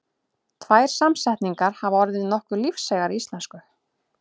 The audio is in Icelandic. Tvær samsetningar hafa orðið nokkuð lífseigar í íslensku.